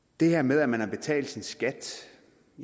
det her med at man har betalt sin skat